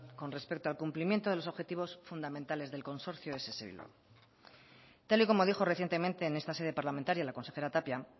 con respecto al cumplimiento de los objetivos fundamentales del consorcio de ess bilbao tal y como dijo recientemente en esta sede parlamentaria la consejera tapia